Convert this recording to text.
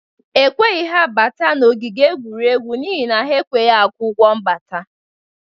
Ekweghị ha bata n'ogige egwuregwu n'ihi na ha akwughi ụgwọ mbata